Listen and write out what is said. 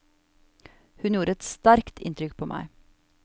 Hun gjorde et sterkt inntrykk på meg.